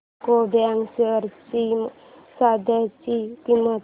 UCO bank shares ची सध्याची किंमत